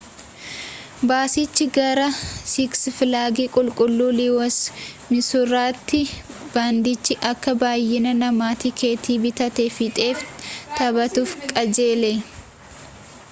baasichi gara siks filaagi qulqulluu liiwusii misuuritti baandiichi akka baayyina namaa tikeeta bitatee fixeef taphatuuf qajeele